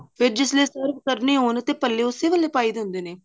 ਤੇ ਜਿਸ ਤਰ੍ਹਾਂ serve ਕਰਨੀ ਹੋਣ ਤੇ ਭੱਲੇ ਉਸੀ ਵੇਲੇ ਪਾਈਦੇ ਹੁੰਦੇ ਨੇ